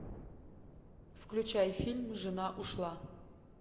включай фильм жена ушла